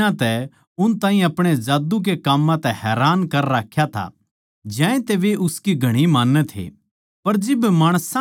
उसनै घणे दिनां तै उन ताहीं अपणे जादू के काम्मां तै हैरान कर राख्या था ज्यांतै वे उसकी घणी मान्नै थे